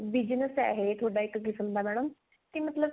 business ਹੈ ਥੋਡਾ ਇੱਕ ਕਿਸਮ ਦਾ madam ਕੇ ਮਤਲਬ